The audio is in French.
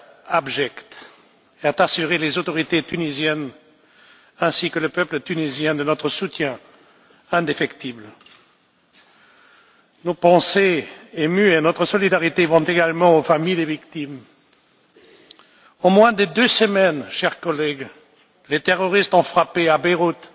Je tiens, au nom de notre institution, à condamner de la manière la plus ferme cet acte abject et à assurer les autorités tunisiennes ainsi que le peuple tunisien de notre soutien indéfectible. Nos pensées émues et notre solidarité vont également aux familles des victimes. En moins de deux semaines, chers collègues, les terroristes ont frappé à Beyrouth,